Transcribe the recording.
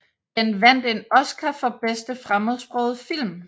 Den vandt en Oscar for bedste fremmedsprogede film